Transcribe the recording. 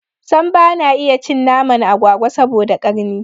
Sam bana iya cin naman agwagwa saboda karni